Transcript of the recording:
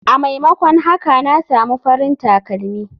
A maimakon haka na samu farin takalmi.